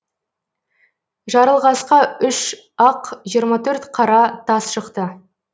жарылғасқа үш ақ жиырма төрт қара тас шықты